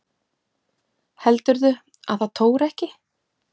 Heldurðu að það tóri ekki?